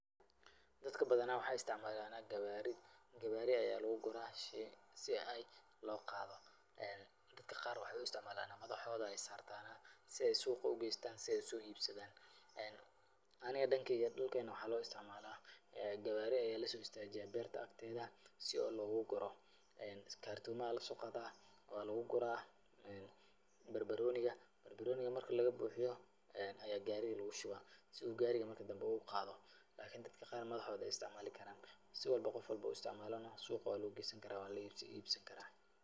Dadka badanaa waxay istacmaalaan qawaari. Gawaari ayaa lugu guraa si ay loo qaado. Dadka qaar waxay u istacmaalaan madaxooda ayaay saartaan si ay suuqa u geystaan si ay u soo iibsadan. Aniga dhankeyga dhulkeen waxaa loo istacmaalaa gawaari ayaa la soo istaajiyaa beerta akteeda si oo loogu guro. Kartoomaha la soo qaadaa waa lagu guraa barbarooniga. Barbarooniga marka laga buuxiyo ayaa gaariga lugu shubaa si uu gaariga marka dambe uu qaado. lakini dadka qaar madaxdooda ayaay istacmaali karaan. Si walbo oo qofa walba istacmaalana, suuqa wa lagu geysan karaa waa la iibsan karaa.